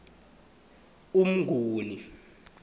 umnguni